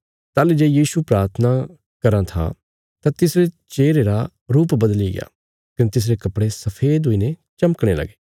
ताहली जे यीशु प्राथना करी राईं था तां तिसरे चेहरे रा रुप बदलिग्या कने तिसरे कपड़े सफेद हुईने चमकणे लगे